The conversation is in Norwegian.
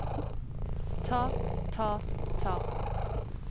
ta ta ta